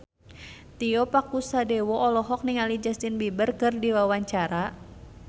Tio Pakusadewo olohok ningali Justin Beiber keur diwawancara